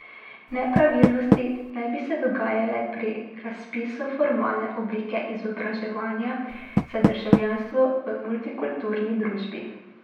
Nepravilnosti naj bi se dogajale pri razpisu Formalne oblike izobraževanja za državljanstvo v multikulturni družbi.